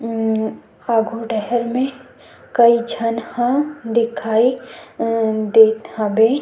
उम्म आघू डाहर मे कई झन ह दिखाई देत हवे।